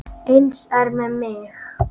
Eins er með mig.